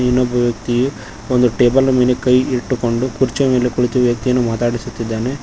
ಇನ್ನೊಬ್ಬ ವ್ಯಕ್ತಿಯು ಒಂದು ಟೇಬಲ್ ಮೇಲೆ ಕೈ ಇಟ್ಟುಕೊಂಡು ಕುರ್ಚಿಯ ಮೇಲೆ ಕುಳಿತ ವ್ಯಕ್ತಿಯನ್ನು ಮಾತಾಡಿಸುತ್ತಿದ್ದಾನೆ.